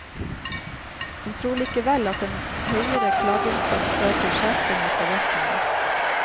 Hun tror likevel at en høyere klageinstans fører til skjerping i forvaltningen.